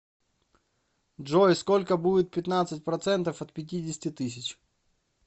джой сколько будет пятнадцать процентов от пятидесяти тысяч